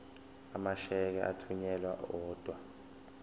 amasheke athunyelwa odwa